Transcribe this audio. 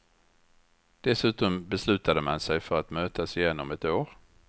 Dessutom beslutade man sig för att mötas igen om ett år.